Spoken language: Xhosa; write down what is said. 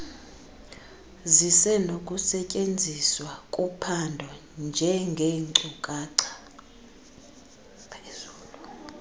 zisenokusetyenziswa kuphando njengeenkcukacha